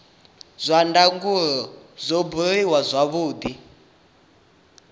zwa ndangulo zwo buliwa zwavhudi